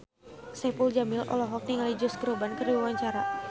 Saipul Jamil olohok ningali Josh Groban keur diwawancara